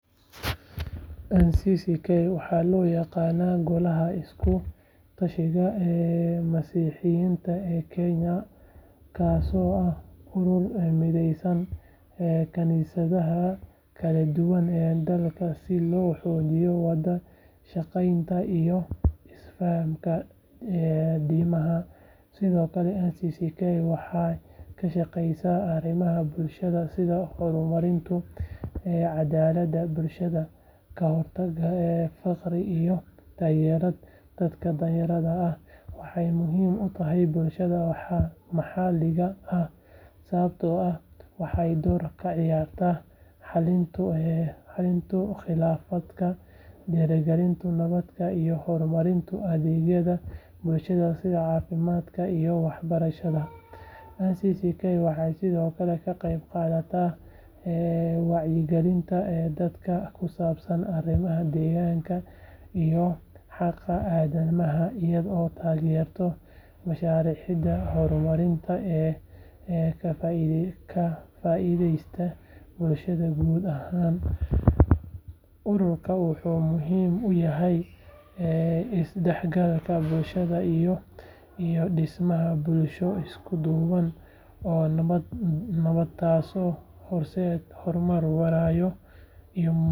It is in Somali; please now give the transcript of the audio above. NCCK waxaa loo yaqaanaa Golaha Isku Tashiga Masiixiyiinta ee Kenya kaasoo ah urur mideeya kaniisadaha kala duwan ee dalka si loo xoojiyo wada shaqaynta iyo isfahamka diimaha sidoo kale NCCK waxay ka shaqeysaa arrimaha bulshada sida horumarinta cadaaladda bulshada, ka hortagga faqri iyo taageerida dadka danyarta ah waxay muhiim u tahay bulshada maxalliga ah sababtoo ah waxay door ka ciyaartaa xalinta khilaafaadka, dhiirrigelinta nabadda iyo horumarinta adeegyada bulshada sida caafimaadka iyo waxbarashada NCCK waxay sidoo kale ka qayb qaadataa wacyigelinta dadka ku saabsan arrimaha deegaanka iyo xaqa aadanaha iyadoo taageerta mashaariicda horumarineed ee ka faa’iideysta bulshada guud ahaan ururkan wuxuu muhiim u yahay isdhexgalka bulshada iyo dhismaha bulsho isku duuban oo nabdoon taasoo horseedaysa horumar waara iyo midnimo bulsho.